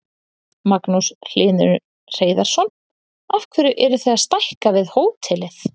Magnús Hlynur Hreiðarsson: Af hverju eruð þið að stækka við hótelið?